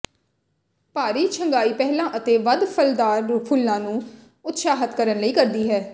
ਭਾਰੀ ਛੰਗਾਈ ਪਹਿਲਾਂ ਅਤੇ ਵੱਧ ਫ਼ਲਦਾਰ ਫੁੱਲਾਂ ਨੂੰ ਉਤਸ਼ਾਹਤ ਕਰਨ ਲਈ ਕਰਦੀ ਹੈ